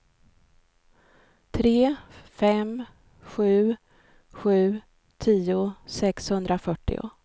tre fem sju sju tio sexhundrafyrtio